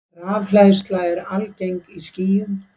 Rafhleðsla er algeng í skýjum.